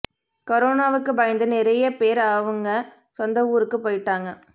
கரோனாவுக்கு பயந்து நிறைய பேரு அவங்க சொந்த ஊருக்கு போயிட்டாங்க